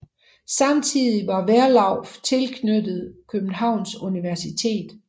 Samtidig var Werlauff tilknyttet Københavns Universitet